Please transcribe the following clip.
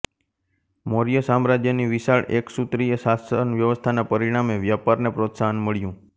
મૌર્ય સામ્રાજ્યની વિશાળ એકસૂત્રીય શાસન વ્યવસ્થાના પરિણામે વ્યાપારને પ્રોત્સાહન મળ્યું